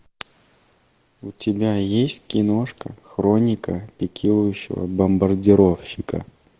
у тебя есть киношка хроника пикирующего бомбардировщика